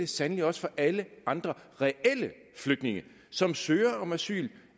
sandelig også for alle andre reelle flygtninge som søger om asyl